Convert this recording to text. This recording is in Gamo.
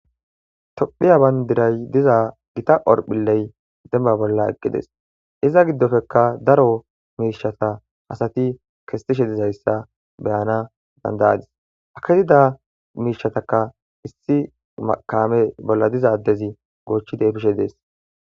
Ttophiya bayndiray diza gita horphilley dembba bolla eqqides iza giddopekka daro miishata asati kesetishe dizayssa beyana dandayadis aketida miishataka issi akame bolla diza addezi goochchi deepishe dees.